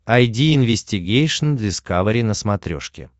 айди инвестигейшн дискавери на смотрешке